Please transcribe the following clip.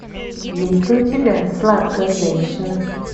есть ли у тебя сладкая женщина